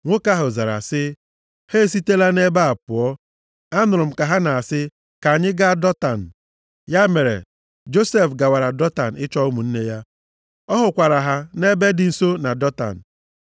Nwoke ahụ zara sị, “Ha esitela nʼebe a pụọ. Anụrụ m ka ha na-asị, ‘Ka anyị gaa Dọtan.’ ” Ya mere, Josef gawara Dọtan ịchọ ụmụnne ya. Ọ hụkwara ha nʼebe dị nso na Dọtan.